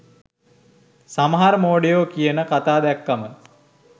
සමහර මෝඩයො කියන කතා දැක්කම